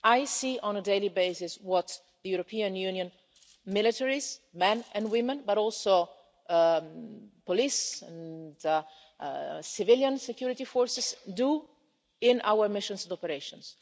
rights. I see on a daily basis what the European Union military men and women, as well as police and civilian security forces, do in our missions and operations.